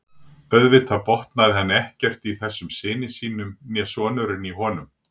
Auðvitað botnaði hann ekkert í þessum syni sínum né sonurinn í honum.